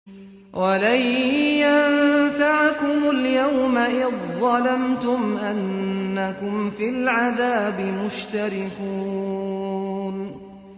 وَلَن يَنفَعَكُمُ الْيَوْمَ إِذ ظَّلَمْتُمْ أَنَّكُمْ فِي الْعَذَابِ مُشْتَرِكُونَ